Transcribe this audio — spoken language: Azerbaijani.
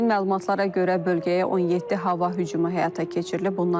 İlkin məlumatlara görə, bölgəyə 17 hava hücumu həyata keçirilib.